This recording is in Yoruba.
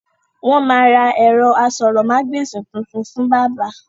Wọn máa ra ẹ̀rọ aṣórómagbesìn tuntun fún bàbá